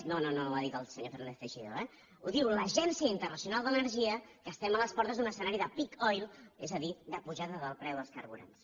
no no ho ha dit el senyor fernández teixidó eh ho diu l’agència internacional de l’energia que estem a les portes d’un escenari de peak oil és a dir de pujada del preu dels carburants